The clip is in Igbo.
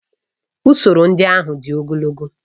Usoro ndị ahụ dị ogologo